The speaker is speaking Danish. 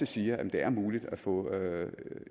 siger at det er muligt at få